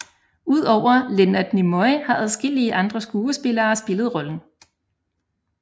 Udover Leonard Nimoy har adskillige andre skuespillere spillet rollen